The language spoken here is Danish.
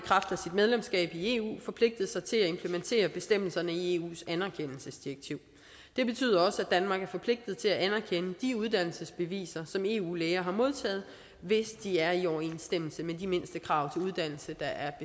medlemskab af eu forpligtet sig til at implementere bestemmelserne i eus anerkendelsesdirektiv det betyder også at danmark er forpligtet til at anerkende de uddannelsesbeviser som eu læger har modtaget hvis de er i overensstemmelse med de mindstekrav til uddannelse der er